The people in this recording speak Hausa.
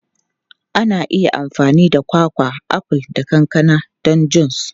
Ana iya amfani da kwakwa, aful, da kankana don jus.